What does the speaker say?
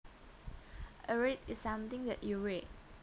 A read is something that you read